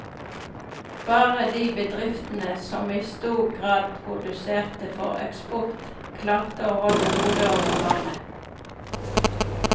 Bare de bedriftene som i stor grad produserte for eksport, klarte å holde hodet over vannet.